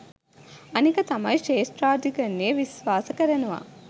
අනික තමයි ශ්‍රේෂ්ඨාධිකරණය විශ්වාස කරනවා